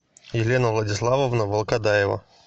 елена владиславовна волкодаева